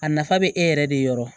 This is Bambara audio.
A nafa bɛ e yɛrɛ de yɔrɔ